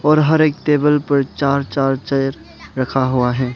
और हर एक टेबल पर चार चार चेयर रखा हुआ है।